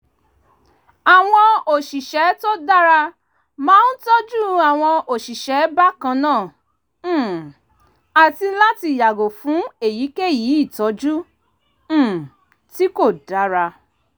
àwọn òṣìṣẹ́ tó dára máa ń tọ́jú àwọn òṣìṣẹ́ bákan náà um àti láti yàgò fún èyíkéyìí ìtọ́jú um tí kò dára